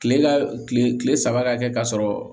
Kile ka kile kile saba ka kɛ ka sɔrɔ